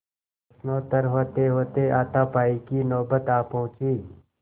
प्रश्नोत्तर होतेहोते हाथापाई की नौबत आ पहुँची